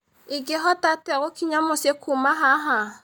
ingĩhota atĩa gũkinya mũciĩ kuuma haha